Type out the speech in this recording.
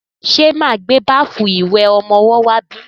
Ṣe máa gbé báfù ìwẹ̀ ọmọwọ́ wá bí?